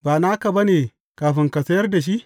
Ba naka ba ne kafin ka sayar da shi?